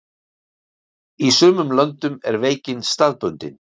Í sumum löndum er veikin staðbundin.